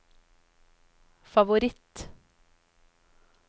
favoritt